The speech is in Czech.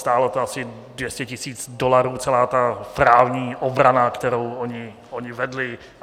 Stálo to asi 200 tisíc dolarů, celá ta právní obrana, kterou oni vedli.